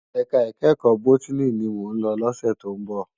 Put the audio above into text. Èká ikèékò bótìní ni mó n lò lòsè tó n bò